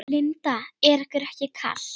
Linda: Er ykkur ekki kalt?